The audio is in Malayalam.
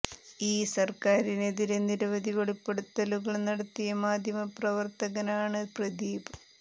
ഈ സർക്കാരിനെതിരെ നിരവധി വെളിപ്പെടുത്തലുകൾ നടത്തിയ മാധ്യമ പ്രവർത്തകൻ ആണ് പ്രദീപ്